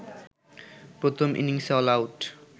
প্রথম ইনিংসে অলআউট